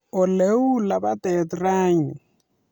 Oleu lapatet rani